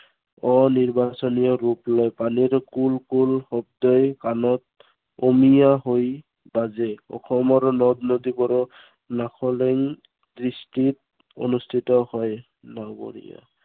অনিৰ্বাচনীয় ৰূপ লয়। পানীৰ কুল কুল শব্দই কানত, অমিয়া হৈ বাজে। অসমৰ নদ-নদীবোৰত নান্দনিক দৃষ্টিত মুগ্ধ হয় নাৱৰীয়া।